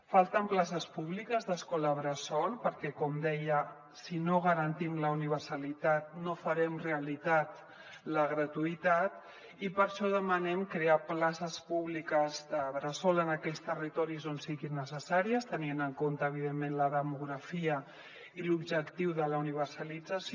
falten places públiques d’escola bressol perquè com deia si no garantim la universalitat no farem realitat la gratuïtat i per això demanem crear places públiques de bressol en aquells territoris on siguin necessàries tenint en compte evidentment la demografia i l’objectiu de la universalització